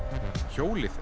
hjólið